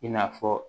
I n'a fɔ